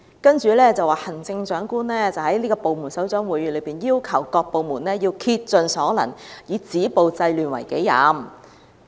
為此，行政長官曾在部門首長會議清楚要求所有部門須竭盡所能，以止暴制亂為己任。